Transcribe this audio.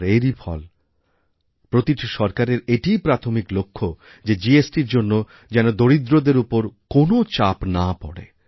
আর এরই ফল প্রতিটি সরকারেরএটিই প্রাথমিক লক্ষ্য যে জিএসটি র জন্য যেন দরিদ্রদের ওপরকোনও চাপ না পড়ে